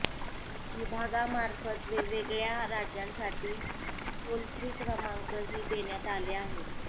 विभागामार्फत वेगवेगळ्या राज्यांसाठी टोल फ्री क्रमांकही देण्यात आले आहेत